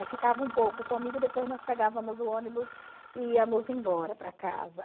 Aí ficava um pouco comigo, depois nós pegávamos o ônibus e íamos embora para casa.